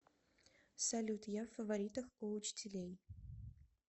салют я в фаворитах у учителей